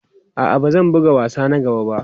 A'a, ba zan buga wasa na gaba ba.